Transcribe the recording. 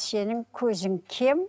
сенің көзің кем